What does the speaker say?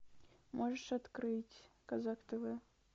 можешь открыть казак тв